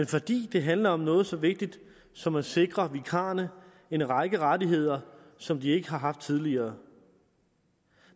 fordi det handler om noget så vigtigt som at sikre vikarerne en række rettigheder som de ikke har haft tidligere